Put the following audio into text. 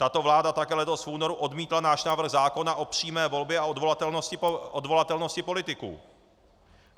Tato vláda také letos v únoru odmítla náš návrh zákona o přímé volbě a odvolatelnosti politiků.